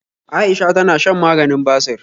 Aisha tana shan maganin basir